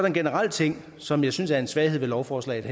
en generel ting som jeg synes er en svaghed ved lovforslaget